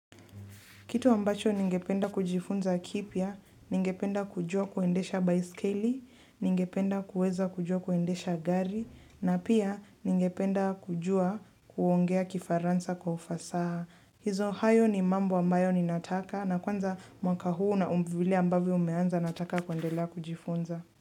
Kitu ambacho ningependa kujifunza kipya, ningependa kujua kuendesha baiskeli, ningependa kueza kujua kuendesha gari, na pia ningependa kujua kuongea kifaransa kwa ufasaha. Hizo hayo ni mambo ambayo ninataka na kwanza mwaka huu na huu mvuli ambavyo umeanza nataka kuendelea kujifunza.